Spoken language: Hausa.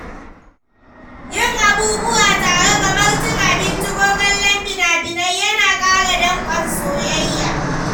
Yin abubuwa tare kamar cin abinci ko kallon fina-finai yana ƙara dankon soyayya.